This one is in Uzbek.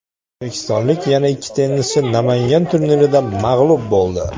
O‘zbekistonlik yana ikki tennischi Namangan turnirida mag‘lub bo‘ldi.